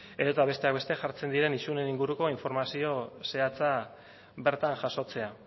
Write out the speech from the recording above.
edota besteak beste jartzen diren isunen inguruko informazio zehatza bertan jasotzea